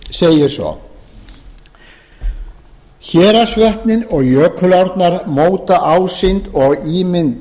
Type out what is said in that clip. segir héraðsvötnin og jökulárnar móta ásýnd og ímynd skagafjarðar